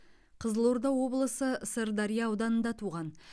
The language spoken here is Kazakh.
қызылорда облысы сырдария ауданында туған